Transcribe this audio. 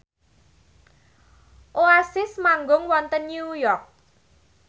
Oasis manggung wonten New York